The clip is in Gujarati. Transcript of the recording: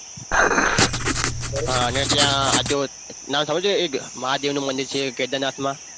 હા અને ત્યાં આજુબાજુ નામ સાંભળ્યું છે એક મહાદેવનું મંદિર છે કેદારનાથમાં